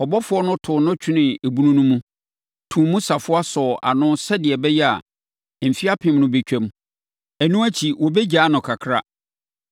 Ɔbɔfoɔ no too no twenee ebunu no mu, too mu safoa sɔɔ ano sɛdeɛ ɛbɛyɛ a, mfeɛ apem no bɛtwam. Ɛno akyi wɔbɛgyaa no kakra.